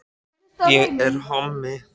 Leit um öxl og upplýsti hið sanna í málinu: